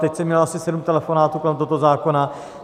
Teď jsem měl asi sedm telefonátů kolem tohoto zákona.